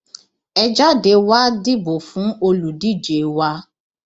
ẹ jáde wàá dìbò fún olùdíje wa